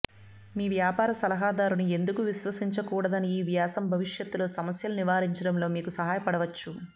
మీ వ్యాపార సలహాదారుని ఎందుకు విశ్వసించకూడదని ఈ వ్యాసం భవిష్యత్తులో సమస్యలను నివారించడంలో మీకు సహాయపడవచ్చు